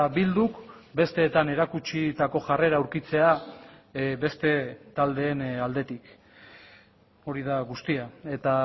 bilduk besteetan erakutsitako jarrera aurkitzea beste taldeen aldetik hori da guztia eta